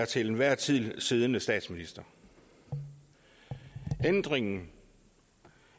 til enhver tid siddende statsminister ændringen